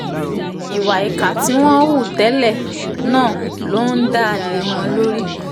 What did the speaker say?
ìwà ìkà tí wọ́n hù tẹ́lẹ̀ náà ló ń dá lé wọn lórí